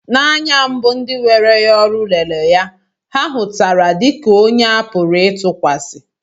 N'anya mbu ndị were ya n'ọrụ lere ya, ha hutara dị ka onye a pụrụ ịtụkwasị